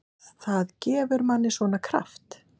Það gefur manni svona. kraft.